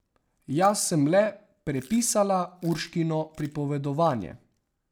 Jaz sem le prepisala Urškino pripovedovanje.